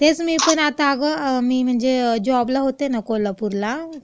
तेच मी पण आता अगं म्हणजे जॉबला होते ना कोल्हापूरला,